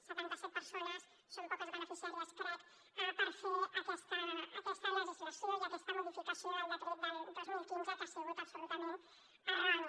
setanta set persones són poques beneficiàries crec per fer aquesta legislació i aquesta modificació del decret del dos mil quinze que ha sigut absolutament erroni